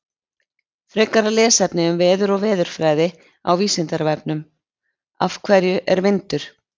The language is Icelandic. Frekara lesefni um veður og veðurfræði á Vísindavefnum: Af hverju er vindur?